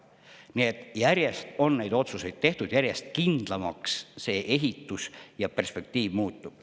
Nii et järjest on neid otsuseid tehtud, järjest kindlamaks see ehitus ja perspektiiv muutub.